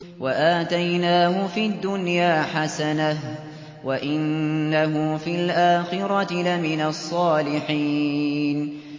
وَآتَيْنَاهُ فِي الدُّنْيَا حَسَنَةً ۖ وَإِنَّهُ فِي الْآخِرَةِ لَمِنَ الصَّالِحِينَ